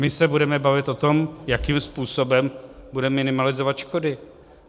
My se budeme bavit o tom, jakým způsobem budeme minimalizovat škody.